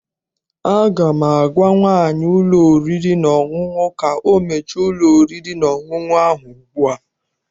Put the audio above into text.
Aga m agwa nwaanyị ụlọ oriri na ọṅụṅụ ka ọ mechie ụlọ oriri na ọṅụṅụ ahụ ugbu a!